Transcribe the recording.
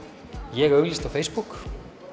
ég auglýsti á Facebook